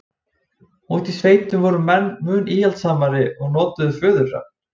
úti í sveitunum voru menn mun íhaldssamari og notuðu föðurnöfn